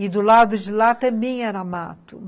E do lado de lá também era mato.